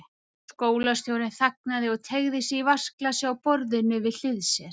Skólastjórinn þagnaði og teygði sig í vatnsglasið á borðinu við hlið sér.